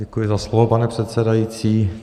Děkuji za slovo, pane předsedající.